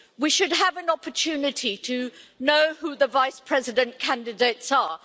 We should have an opportunity to know who the vice president candidates are.